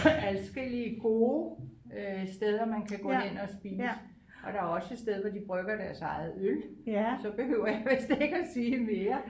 Adskillige gode øh steder man kan gå hen og spise og der er også et sted hvor de brygger deres eget øl så behøver jeg vist ikke at sige mere